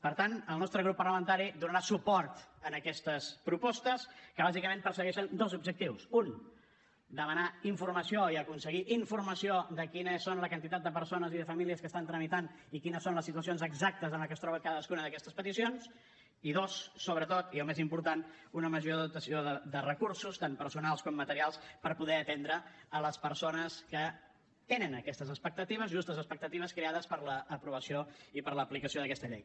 per tant el nostre grup parlamentari donarà suport en aquestes propostes que bàsicament persegueixen dos objectius un demanar informació i aconseguir informació de quines són la quantitat de persones i de famílies que estan tramitant i quines són les situacions exactes en què es troben cadascuna d’aquestes peticions i dos sobretot i el més important una major dotació de recursos tant personals com materials per poder atendre les persones que tenen aquestes expectatives justes expectatives creades per l’aprovació i per l’aplicació d’aquesta llei